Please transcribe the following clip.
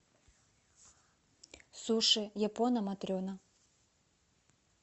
суши япона матрена